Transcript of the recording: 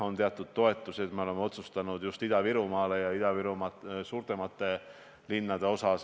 On teatud toetused, mis me oleme otsustanud suunata just Ida-Virumaale ja Ida-Virumaa suurematesse linnadesse.